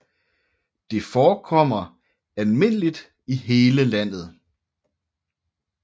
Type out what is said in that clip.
Det forekommer almindeligt i hele landet